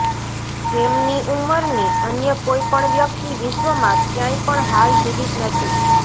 એમની ઉંમરની અન્ય કોઈ પણ વ્યક્તિ વિશ્વમાં ક્યાંય પણ હાલ જીવિત નથી